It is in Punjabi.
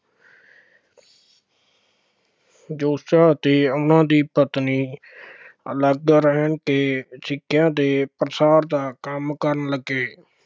ਜੋਤੀਬਾ ਅਤੇ ਉਹਨਾ ਦੀ ਪਤਨੀ ਅਲੱਗ ਰਹਿ ਕੇ ਸਿੱਖਿਆ ਦੇ ਪ੍ਰਸਾਰ ਦਾ ਕੰਮ ਕਰਨ ਲੱਗੇ,